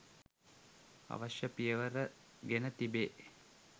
අවශ්‍ය පියවර ගෙන තිබේ